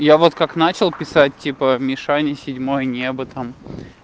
я вот как начал писать типа мишаня седьмое небо там